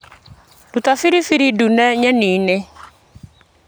Ruta biribiri ndune nyeni-inĩ .